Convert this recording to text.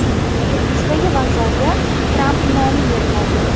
Quddusdagi vokzalga Tramp nomi beriladi.